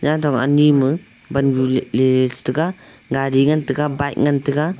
hantong ani ma pan nu ley tega gari ngan tega bike ngan tega.